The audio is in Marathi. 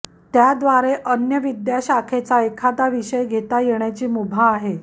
त्याद्वारे अन्य विद्याशाखेचा एखादा विषय घेता येण्याची मुभा आहे